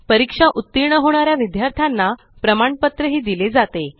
परीक्षेत उत्तीर्ण होणाऱ्या विद्यार्थ्यांना प्रमाणपत्र दिले जाते